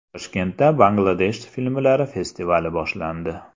Toshkentda Bangladesh filmlari festivali boshlandi.